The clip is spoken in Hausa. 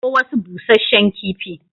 Kawo wasu bushshen kifi.